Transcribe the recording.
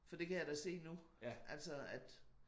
For det kan jeg da se nu altså at